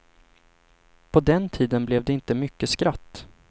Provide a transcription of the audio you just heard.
På den tiden blev det inte mycket skratt.